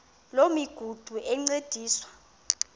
loo migudu encediswa